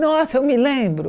Nossa, eu me lembro